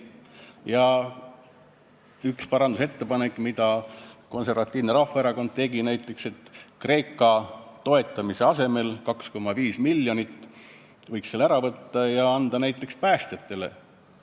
Ja üks Konservatiivse Rahvaerakonna ettepanek oli, et Kreeka toetamise asemel 2,5 miljoniga võiks selle summa anda näiteks päästjatele.